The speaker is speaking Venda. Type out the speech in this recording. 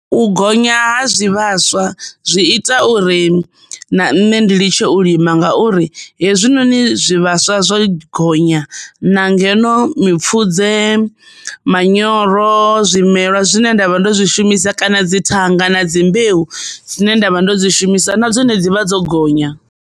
U gonya ha zwivhaswa zwi ita uri na nṋe ndi ḽi tshe u lima ngauri hezwinoni zwivhaswa zwo gonya na ngeno mipfudze manyoro zwimelwa zwine nda vha ndo zwishumisa kana dzi thanga na dzi mbeu dzine nda vha ndo dzi shumisa na dzone dzivha dzo gonya.